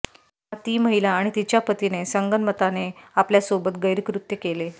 तेव्हा ती महिला आणि तिच्या पतीने संगनमताने आपल्यासोबत गैरकृत्य केले